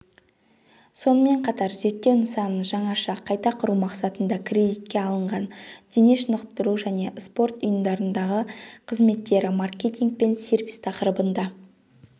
сонымен қатар зерттеу нысанын жаңаша қайта құру мақсатында кредитке арналған дене шынықтыру және спорт ұйымдарындағықызметтері маркетинг пен сервис тақырыбында